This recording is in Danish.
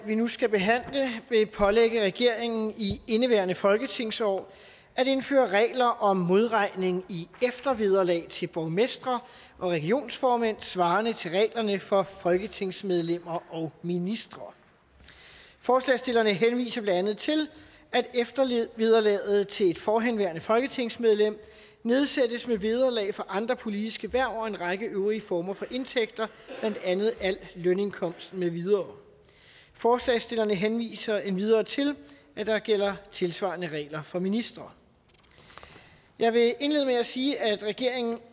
vi nu skal behandle vil pålægge regeringen i indeværende folketingsår at indføre regler om modregning i eftervederlag til borgmestre og regionsformænd svarende til reglerne for folketingsmedlemmer og ministre forslagsstillerne henviser blandt andet til at eftervederlaget til et forhenværende folketingsmedlem nedsættes med vederlag for andre politiske hverv og en række øvrige former for indtægter blandt andet al lønindkomst med videre forslagsstillerne henviser endvidere til at der gælder tilsvarende regler for ministre jeg vil indlede med at sige at regeringen